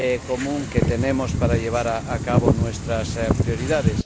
común de que disponemos para llevar a cabo nuestras prioridades.